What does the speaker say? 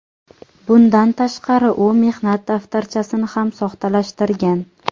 Bundan tashqari u mehnat daftarchasini ham soxtalashtirgan.